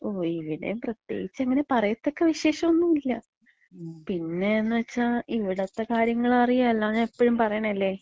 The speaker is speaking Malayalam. ഓ, ഇവ്ടെയും പ്രത്യേകിച്ച് അങ്ങനെ പറയത്തക്ക വിശേഷൊന്നുല്ല. പിന്നേന്ന് വച്ചാ ഇവ്ട്ത്ത കാര്യങ്ങള് അറിയാലോ. ഞാൻ എപ്പഴും പറയണല്ലേ.